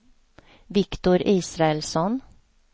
Viktor Israelsson